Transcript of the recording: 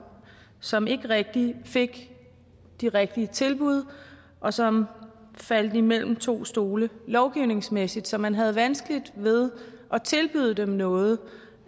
som ikke rigtig fik de rigtige tilbud og som faldt mellem to stole lovgivningsmæssigt så man havde vanskeligt ved at tilbyde dem noget